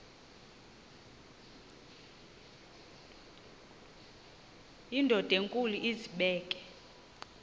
indod enkulu izibeke